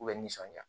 K'u bɛ nisɔndiya